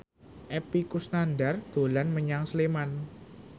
Epy Kusnandar dolan menyang Sleman